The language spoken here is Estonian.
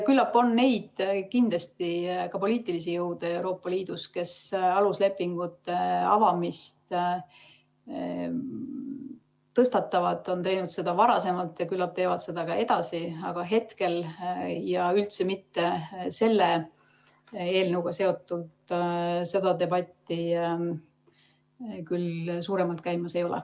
Kindlasti on ka neid poliitilisi jõude Euroopa Liidus, kes aluslepingute avamise teemat tõstatavad, on teinud seda varem ja küllap teevad seda ka edasi, aga hetkel ja selle eelnõuga seotult seda debatti küll suuremalt käimas ei ole.